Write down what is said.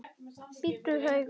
Bíddu hægur.